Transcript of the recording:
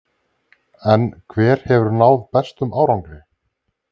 En hver hefur náð bestum árangri?